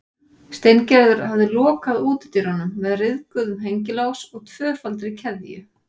Steingerður hafði lokað útidyrunum með ryðguðum hengilás og tvöfaldri keðju.